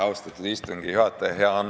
Austatud istungi juhataja!